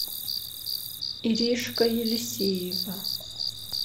иришка елисеева